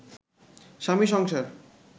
স্বামী সংসার